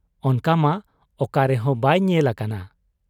ᱚᱱᱠᱟᱢᱟ ᱚᱠᱟ ᱨᱮᱦᱚᱸ ᱵᱟᱭ ᱧᱮᱞ ᱟᱠᱟᱱᱟ ᱾